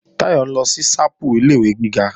Táyọ̀ ń lọ sí ṣápù ilé-ìwé gíga